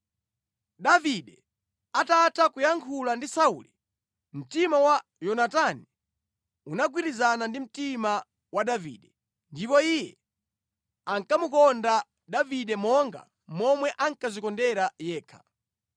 Davide atatha kuyankhula ndi Sauli, mtima wa Yonatani unagwirizana ndi mtima wa Davide, ndipo iye ankamukonda Davide monga momwe ankadzikondera yekha.